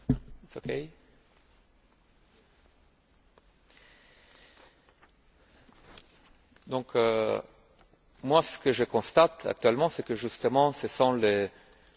Ce que je constate actuellement, c'est que, justement, ce sont les contribuables, les consommateurs, les organisations non gouvernementales qui sont très sensibles à cette question et qui demandent beaucoup de choses